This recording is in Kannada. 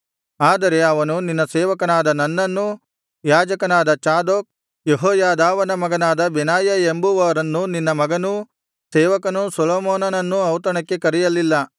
ಆದರೆ ಅವನು ನಿನ್ನ ಸೇವಕನಾದ ನನ್ನನ್ನೂ ಯಾಜಕನಾದ ಚಾದೋಕ್ ಯೆಹೋಯಾದಾವನ ಮಗನಾದ ಬೆನಾಯ ಎಂಬುವರನ್ನೂ ನಿನ್ನ ಮಗನೂ ಸೇವಕನೂ ಸೊಲೊಮೋನನನ್ನೂ ಔತಣಕ್ಕೆ ಕರೆಯಲಿಲ್ಲ